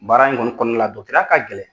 Baara in kɔni kɔɔna la ya ka gɛlɛn.